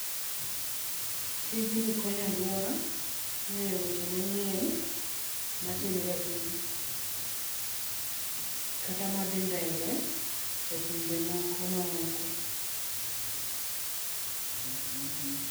Tijni konyo alwora ng'eyo weche manyien matimre e Piny, kata madhii mbele e pinje moko ma oko.